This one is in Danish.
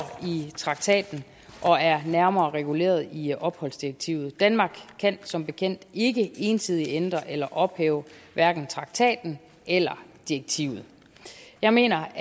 i traktaten og er nærmere reguleret i opholdsdirektivet danmark kan som bekendt ikke ensidigt ændre eller ophæve hverken traktaten eller direktivet jeg mener